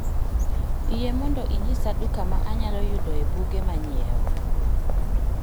Yie mondo inyisa duka ma anyalo yudoe buge manyiewo